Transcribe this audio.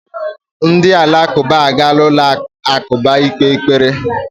Ndị Alakụba agaala ụlọ alakụba ikpe ekpere